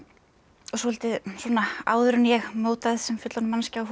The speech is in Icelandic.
svolítið áður en ég mótaðist sem fullorðin manneskja þá fór ég